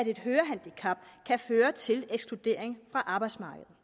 et hørehandicap kan føre til ekskludering fra arbejdsmarkedet